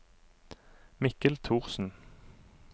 Mikkel Thorsen